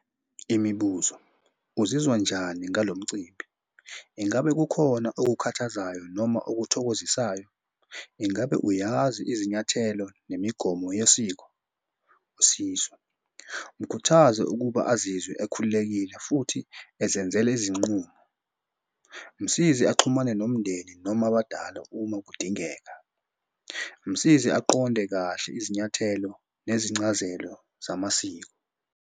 Imibuzo, uzizwa unjani ngalo mcimbi? Ingabe kukhona okukhathazayo noma okuthokozisayo? Ingabe uyazi izinyathelo nemigomo yesiko? Usizo, mukhuthaze ukuba azizwe ekhululekile futhi ezenzela izinqumo. Msize axhumane nomndeni noma abadala uma kudingeka. Msize aqonde kahle izinyathelo nezincazelo zamasiko.